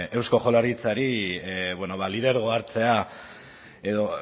eusko jaurlaritzari bueno ba lidergoa hartzea edo